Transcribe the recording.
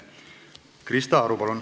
Krista Aru, palun!